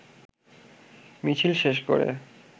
মিছিল শেষ করে